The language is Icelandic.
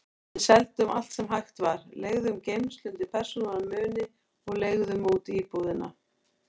Við seldum allt sem hægt var, leigðum geymslu undir persónulega muni og leigðum út íbúðina.